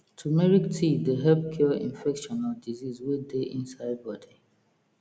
turmeric tea dey help cure infection or disease wey dey inside body